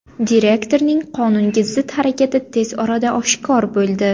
Direktorning qonunga zid harakati tez orada oshkor bo‘ldi.